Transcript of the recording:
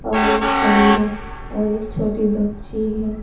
और एक खड़ी है और एक छोटे बच्चे हैं।